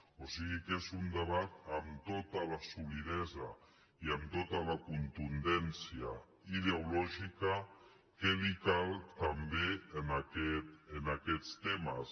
o sigui que és un debat amb tota la solidesa i amb tota la contundència ideològica que li cal també en aquest tema